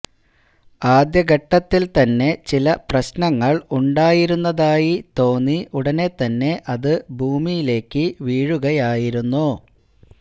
ആദ്യഘട്ടത്തില് തന്നെ ചില പ്രശ്നങ്ങള് ഉണ്ടായിരുന്നതായി തോന്നി ഉടനെത്തന്നെ അത് ഭൂമിയിലേക്ക് വീഴുകയായിരുന്നു